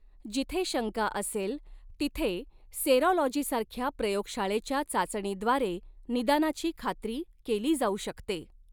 जिथे शंका असेल तिथे सेरॉलॉजीसारख्या प्रयोगशाळेच्या चाचणीद्वारे निदानाची खात्री केली जाऊ शकते.